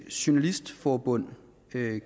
journalistforbund